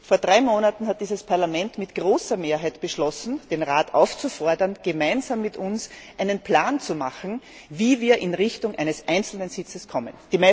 Vor drei Monaten hat dieses Parlament mit großer Mehrheit beschlossen, den Rat aufzufordern, gemeinsam mit uns einen Plan zu machen, wie wir in Richtung eines einzelnen Sitzes kommen.